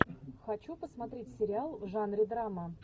хочу посмотреть сериал в жанре драма